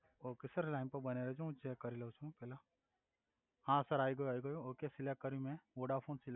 okay sir line પર બન્યા રેજો હું ચેક કરી લવ છું પેલા હા સર આઈ ગયું આઈ ગયું ઓકે સિલેક્ટ કર્યું મે વોડાફોન